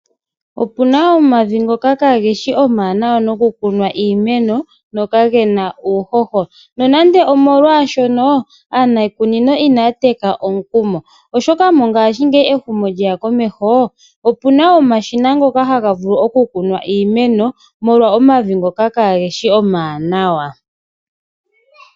Opuna omavi ngoka kageshi omawanawa noku kuna iimeno ngoka gena uuhoho. Nonando omolwaaashono aaniikunino inaya teka omukumo ashike ngashingeyi uhomokomeho sho lyeya, opuna omashina ngoka haga vulu oku kunwa iimeno molwa omavi ngoka kageshi omawanawa.